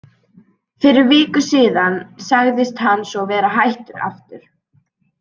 Fyrir viku síðan sagðist hann svo vera hættur aftur.